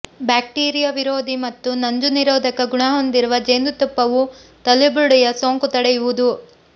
bacteria ವಿರೋಧಿ ಮತ್ತು ನಂಜುನಿರೋಧಕ ಗುಣ ಹೊಂದಿರುವ ಜೇನುತುಪ್ಪವು ತಲೆಬುರುಡೆಯ ಸೋಂಕು ತಡೆಯುವುದು